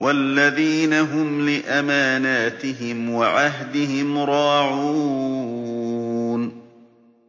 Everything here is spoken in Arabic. وَالَّذِينَ هُمْ لِأَمَانَاتِهِمْ وَعَهْدِهِمْ رَاعُونَ